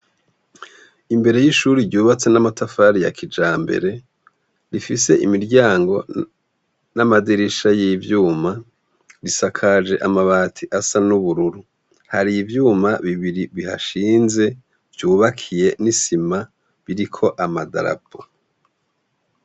Imbere y'ishuri ryubatse n'amatafari ya kijambere, rifise imiryango n'amadirisha y'ivyuma, risakaje amabati asa n'ubururu, Hari ivyuma bibiri bihashinze vyubakiye n'isima biriko amadarapo.